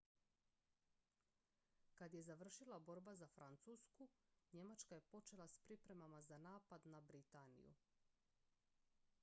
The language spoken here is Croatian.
kad je završila borba za francusku njemačka je počela s pripremama za napad na britaniju